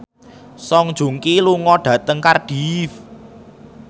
Song Joong Ki lunga dhateng Cardiff